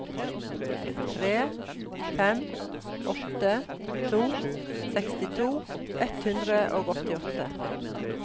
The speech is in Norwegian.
tre fem åtte to sekstito ett hundre og åttiåtte